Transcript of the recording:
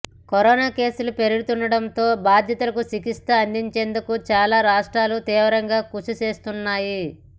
corona కేసులు పెరుగుతుండటంతో బాధితులకు చికిత్స అందించేందుకు చాలా రాష్ట్రాలు తీవ్రంగా కృషి చేస్తున్నాయి